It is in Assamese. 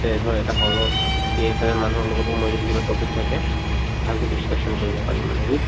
ইয়াতে ধৰ এটা hall ত কি এফালে মানুহৰ লগতো মই যদি কিবা topic থাকে ভালকে discussion কৰিব পাৰিম মানে